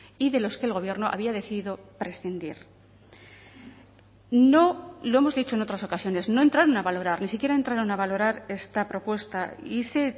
y de los que el gobierno había decidido prescindir no lo hemos dicho en otras ocasiones no entraron a valorar ni siquiera entraron a valorar esta propuesta y se